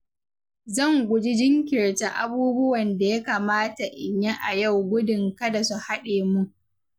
Zan guji jinkirta abubuwan da ya kamata in yi a yau gudun kada su haɗe mun.